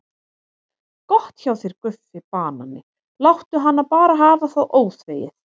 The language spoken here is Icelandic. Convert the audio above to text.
Gott hjá þér Guffi banani, láttu hana bara hafa það óþvegið.